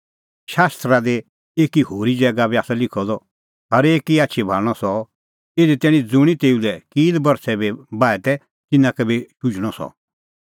शास्त्रा दी एकी होरी ज़ैगा बी आसा लिखअ द हरेकी आछी भाल़णअ सह इधी तैणीं ज़ुंणी तेऊ लै कील बरछ़ै बी बाहै तै तिन्नां का बी शुझणअ सह